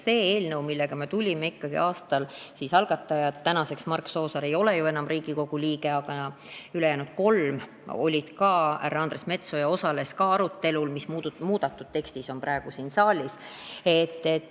Selle eelnõu algatajatest Mark Soosaar ei ole ju tänaseks enam Riigikogu liige, aga ülejäänud kolm olid olemas, ka härra Andres Metsoja osales arutelul muudetud teksti üle, mis on praegu siin saalis.